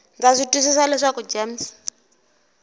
ndza swi twisisa leswaku gems